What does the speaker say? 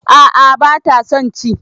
A'a bata son ci